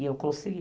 E eu consegui.